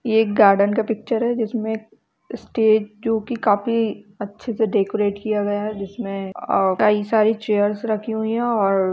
ये एक गार्डन का पिक्चर है जिसमें स्टेज जो कि काफी अच्छे से डेकोरेट किया गया है जिसमें अं कई सारी चेयर्स रखी हुई हैं और अ --